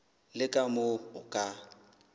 le ka moo o ka